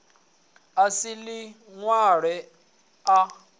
a sa ḓi wane a